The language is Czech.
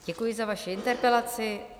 Děkuji za vaši interpelaci.